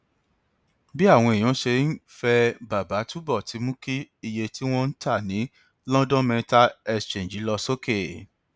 bí àwọn èèyàn ṣe ń fẹ bàbà túbọ ti mú kí iye tí wọn ń ta ní london metal exchange lọ sókè